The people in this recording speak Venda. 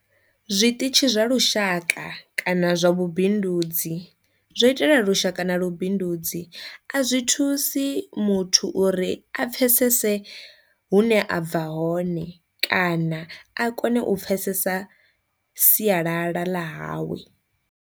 Zwiṱitshi zwa lushaka kana zwa lubindudzi zwo itela lusha na vhubindudzi a zwi thusi muthu uri a pfhesese hune a bva hone kana a kone u pfhesesa sialala ḽa hawe.